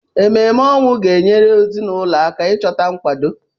Emume ọnwụ ga-enyere ezinụlọ aka ịchọta nkwado.